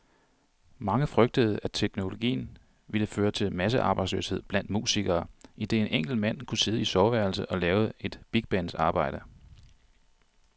Mange frygtede, at teknologien ville føre til massearbejdsløshed blandt musikere, idet en enkelt mand kunne sidde i soveværelset og lave et bigbands arbejde.